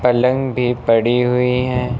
पलंग भी पड़ी हुई है।